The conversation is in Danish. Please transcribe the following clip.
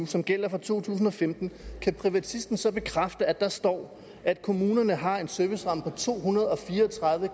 som gælder for to tusind og femten kan privatisten så bekræfte at der står at kommunerne har en serviceramme på to hundrede og fire og tredive